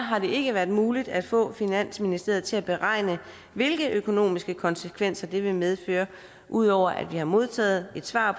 ikke været muligt at få finansministeriet til at beregne hvilke økonomiske konsekvenser det vil medføre ud over at vi har modtaget et svar